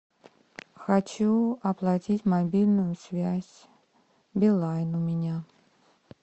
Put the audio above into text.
хочу оплатить мобильную связь билайн у меня